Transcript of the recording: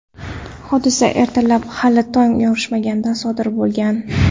Hodisa ertalab, hali tong yorishmaganida sodir bo‘lgan.